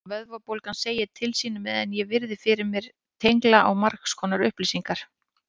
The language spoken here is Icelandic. Vöðvabólgan segir til sín meðan ég virði fyrir mér tengla á margskonar upplýsingar.